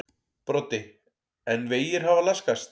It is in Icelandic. Broddi: En vegir hafa laskast?